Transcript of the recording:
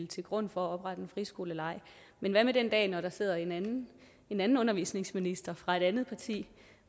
til grund for at oprette en friskole men hvad med den dag der sidder en anden en anden undervisningsminister fra et andet parti